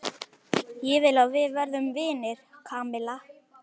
Ég vil að við verðum vinir, Kamilla.